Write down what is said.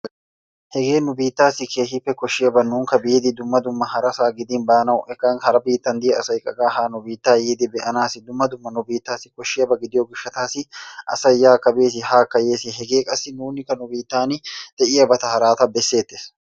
hege nu biittassi keehippe koshshiyaaba nuukka biidi dumma dumma harasaan gidin baanaw hegan haraa biittan diya asassika qa ha nu biitta yiidi be'anassi dumma dumma nu biittassi koshhsiyaaba gidiyo gishshatassi asay yaakka bes, haakka yes, hegee qassi nuunikka nu biittan de'iyaabaata harataa bessetes